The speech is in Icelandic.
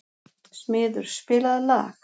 Smiður, spilaðu lag.